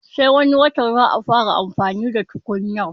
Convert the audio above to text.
Sai wani watan za a fara amfani da tukunyar